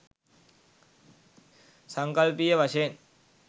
සංකල්පීය වශයෙන්